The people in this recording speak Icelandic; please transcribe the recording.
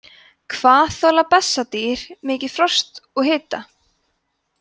hvað þola bessadýr mikið frost og hita